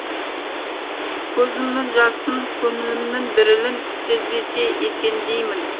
көзімнің жасын көңілімнің дірілін сезбесе екен деймін